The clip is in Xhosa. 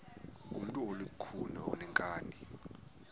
ngumntu olukhuni oneenkani